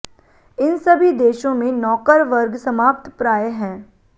इन सभी देशों में नौकर वर्ग समाप्तप्राय हैं